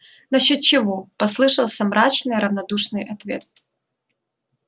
насчёт чего послышался мрачный равнодушный ответ